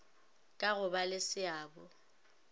ka go ba le seabo